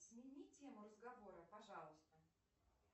смени тему разговора пожалуйста